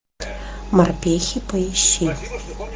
морпехи поищи